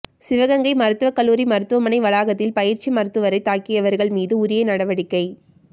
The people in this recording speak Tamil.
சிவகங்கை மருத்துவக் கல்லூரி மருத்துவமனை வளாகத்தில் பயிற்சி மருத்துவரை தாக்கியவா்கள் மீது உரிய நடவடிக்கை